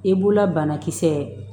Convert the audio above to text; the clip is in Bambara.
I b'ula banakisɛ